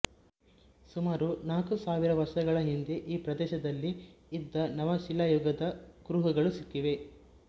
ಸುಮಾರು ನಾಲ್ಕು ಸಾವಿರ ವರ್ಷಗಳ ಹಿಂದೆ ಈ ಪ್ರದೇಶದಲ್ಲಿ ಇದ್ದ ನವಶಿಲಾಯುಗದ ಕುರುಹುಗಳು ಸಿಕ್ಕಿವೆ